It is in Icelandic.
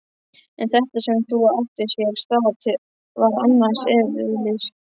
En þetta sem nú átti sér stað var annars eðlis.